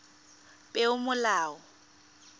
peomolao